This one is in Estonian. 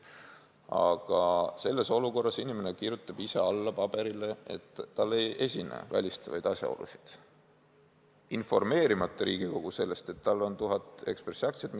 Aga selles olukorras kirjutab inimene ise alla paberile, et tal ei esine välistavaid asjaolusid, ja jätab informeerimata Riigikogu sellest, et tal on tuhat Ekspressi aktsiat.